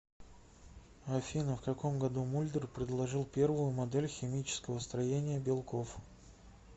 афина в каком году мульдер предложил первую модель химического строения белков